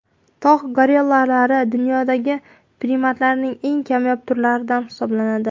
Tog‘ gorillalari dunyodagi primatlarning eng kamyob turlaridan hisoblanadi.